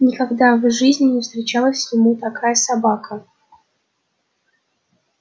никогда в жизни не встречалась ему такая собака